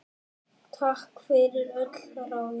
Takk fyrir öll ráðin.